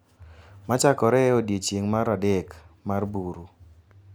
Machakore e odiechieng’ mar adek mar buru .